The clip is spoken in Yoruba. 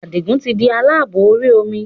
Adigun tí di aláàbò orí omi